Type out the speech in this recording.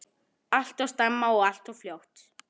Alltof snemma og alltof fljótt.